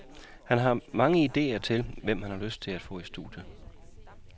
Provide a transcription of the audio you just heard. Han har mange idéer til, hvem han har lyst til at få i studiet.